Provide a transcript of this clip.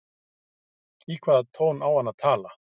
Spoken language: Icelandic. Í hvaða tón á hann að tala?